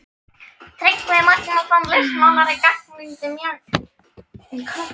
Tryggvi Magnússon, listmálari, gagnrýndi mjög tillögurnar um háborgina.